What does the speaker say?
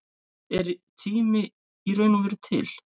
Er tími í raun og veru til?